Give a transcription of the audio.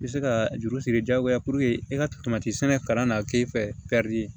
I bɛ se ka juru siri diyagoya e ka to sɛnɛ kalan na k'e fɛ